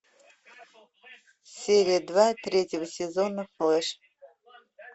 серия два третьего сезона флеш